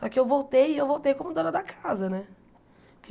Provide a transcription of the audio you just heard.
Só que eu voltei e eu voltei como dona da casa né.